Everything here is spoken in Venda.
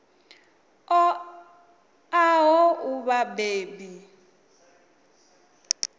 ṱo ḓaho u vha vhabebi